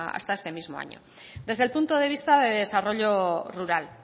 hasta este mismo año desde el punto de vista de desarrollo rural